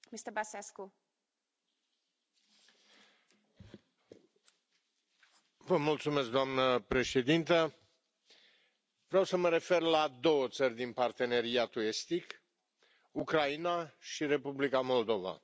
Doamnă președintă, vreau să mă refer la două țări din parteneriatul estic, Ucraina și Republica Moldova.